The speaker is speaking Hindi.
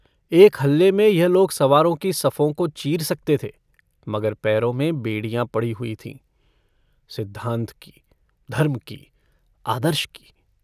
एक हल्ले में यह लोग सवारों की सफ़ों को चीर सकते थे मगर पैरों में बेड़ियाँ पड़ी हुई थीं - सिद्धान्त की, धर्म की, आदर्श की।